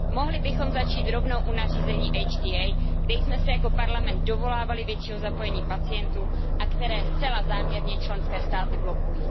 Mohli bychom začít rovnou u nařízení HTA, kde jsme se jako Parlament dovolávali většího zapojení pacientů a které zcela záměrně členské státy blokují.